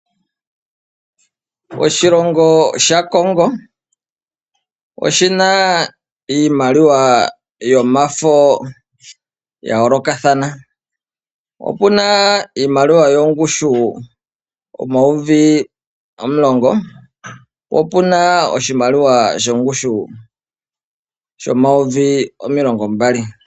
Oshilongo sha Congo oshi na iimaliwa yomafo ya yoolokathana. Opu na iimaliwa yongushu omayovi omulongo, opu na oshimaliwa shongushu shomayovi omilongo mbali.